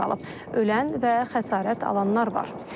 Ölən və xəsarət alanlar var.